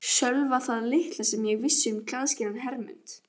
Sölva það litla sem ég vissi um klæðskerann Hermund